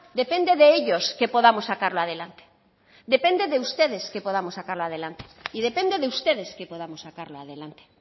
depende de ellos que podamos sacarlo adelante depende de ustedes que podamos sacarlo adelante y depende de ustedes que podamos sacarlo adelante